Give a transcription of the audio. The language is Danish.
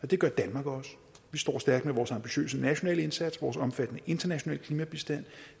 det gør danmark også vi står stærkt med vores ambitiøse nationale indsats vores omfattende internationale klimabistand